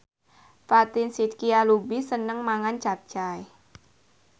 Fatin Shidqia Lubis seneng mangan capcay